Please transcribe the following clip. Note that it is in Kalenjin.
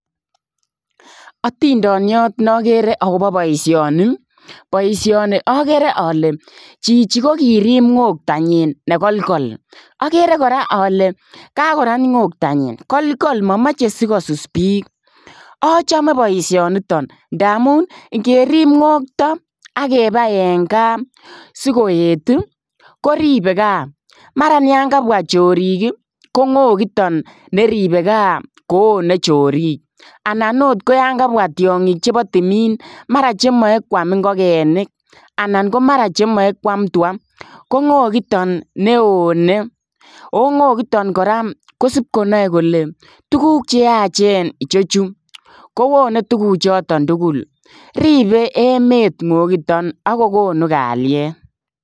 Atindaniat na Gere agobo boisioni boisioni agere ale chichi ko koriip ngota nyiin ne kolkol agere kora ale agere karat ngota nyiin agere ale kolkol machei sikosus biik, achame boisioni nitoon ndamuun ingeriip ngotaa agebai en gaah sikoet ii koribgei gaah maraan ya kabwa chorik ii ko ngongiik yaan neribei gaah koone choriik anan akoot ko yaan kabwa tiangiik chebo tumiin ,mara cheame kwaam ingogenik anan mara komachei kwaam tua ko ngongiik taan ne onei ako ngogitaan kora kosiip konae kole tuguuk che yacheen ichechuu kowone tuguuk chotoon tugul ripee emet ngongiik taan ako konuu kaliet.